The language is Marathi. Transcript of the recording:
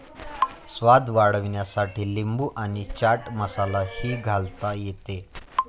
स्वाद वाढविण्यासाठी लिंबू आणि चाट मसाला ही घालता येते.